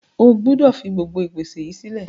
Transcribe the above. O gbúdọ̀ fi gbogbo ìpèsè yìí sílẹ̀.